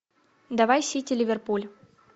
давай сити ливерпуль